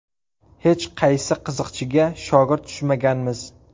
Hech qaysi qiziqchiga shogird tushmaganmiz.